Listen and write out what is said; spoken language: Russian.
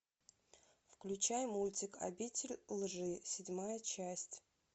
включай мультик обитель лжи седьмая часть